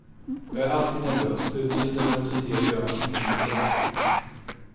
Jag är alltid nervös, utan lite nervositet gör man ingenting bra.